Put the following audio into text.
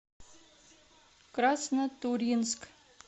краснотурьинск